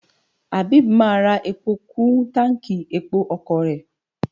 Abeeb máa ra epo kú táǹkì epo ọkọ̀ rẹ̀.